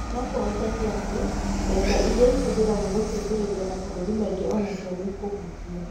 No kũhoteke atĩ, mbeca iria ihũthagĩrũo gũteithĩrĩria mabũrũri mangĩ o nacio nĩ ikũhutio.